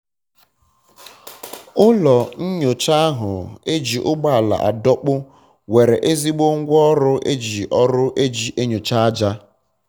ụlọ nyocha ahu eji ụgbọala adọkpu nwere ezigbo ngwa ọrụ eji ọrụ eji enyocha aja